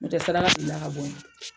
O tɛ saraka bilila ka bo yi.